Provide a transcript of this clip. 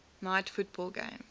night football game